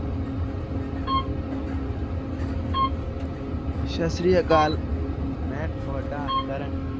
ਸਤਿ ਸ੍ਰੀ ਅਕਾਲ ਮੈਂ ਤੁਹਾਡਾ ਕਰਨ